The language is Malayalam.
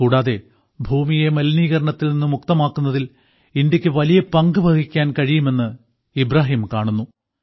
കൂടാതെ ഭൂമിയെ മലിനീകരണത്തിൽ നിന്ന് മുക്തമാക്കുന്നതിൽ ഇന്ത്യയ്ക്ക് വലിയ പങ്ക് വഹിക്കാൻ കഴിയുമെന്ന് ഇബ്രാഹിം കാണുന്നു